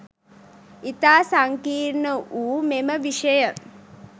ඉතා සංකීර්ණ වූ මෙම විෂය